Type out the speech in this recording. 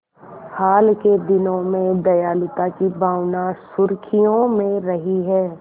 हाल के दिनों में दयालुता की भावना सुर्खियों में रही है